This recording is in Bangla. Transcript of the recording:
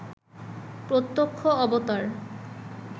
প্রত্যক্ষ অবতার